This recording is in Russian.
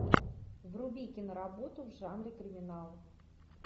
вруби киноработу в жанре криминал